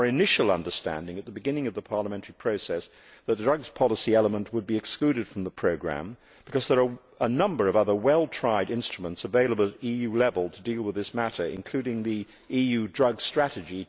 It was our initial understanding, at the beginning of the parliamentary process, that the drugs policy element would be excluded from the programme because there are a number of other well tried instruments available at EU level to deal with this matter, including the EU Drugs Strategy